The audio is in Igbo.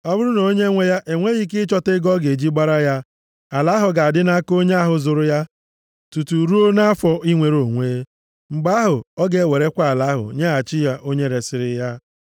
Ọ bụrụ na onyenwe ya enweghị ike ịchọta ego ọ ga-eji gbara ya, ala ahụ ga-adị nʼaka onye ahụ zụrụ ya tutu ruo nʼafọ inwere onwe. Mgbe ahụ ọ ga-ewerekwa ala ahụ nyeghachi ya onye resiri ya.